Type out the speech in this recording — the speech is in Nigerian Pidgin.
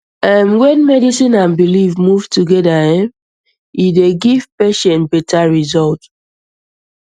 erm when medicine and belief move together erm e dey give patient better result